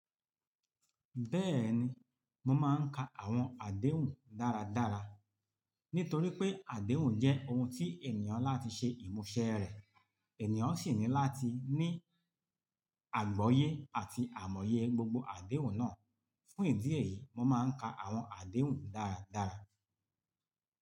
Bẹ́ẹ̀ni, mo máa ń ka àwọn àdéhùn dáradára nítorí pé àdéhùn jẹ́ ohun tí ènìyàn láti ṣe ìmúṣẹ rẹ̀. Ẹ̀nìyàn sì ní láti ní àgbọ́yé àti àmọ́yé gbogbo àdéhùn náà. Fún ìdí èyí, mo máa ń ka àwọn àdéhùn dáradára.